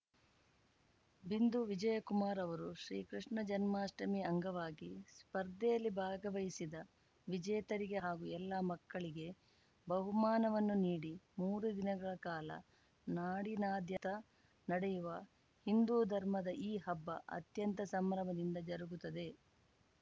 ಬಿಂದು ವಿಜಯಕುಮಾರ್‌ ಅವರು ಶ್ರೀಕೃಷ್ಣ ಜನ್ಮಾಷ್ಟಮಿ ಅಂಗವಾಗಿ ಸ್ಪರ್ಧೆಯಲ್ಲಿ ಭಾಗವಹಿಸಿದ ವಿಜೇತರಿಗೆ ಹಾಗೂ ಎಲ್ಲ ಮಕ್ಕಳಿಗೆ ಬಹುಮಾನವನ್ನು ನೀಡಿ ಮೂರು ದಿನಗಳ ಕಾಲ ನಾಡಿನಾದ್ಯಂತ ನಡೆಯುವ ಹಿಂದೂ ಧರ್ಮದ ಈ ಹಬ್ಬ ಅತ್ಯಂತ ಸಂಭ್ರಮದಿಂದ ಜರುಗುತ್ತದೆ